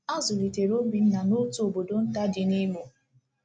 A zụlitere Obinna n’otu obodo nta dị n'Imo.